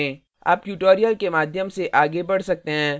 आप tutorial के माध्यम से आगे बढ़ सकते हैं